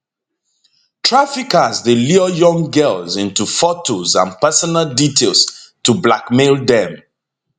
traffickers dey lure young girls into fotos and personal details to blackmail dem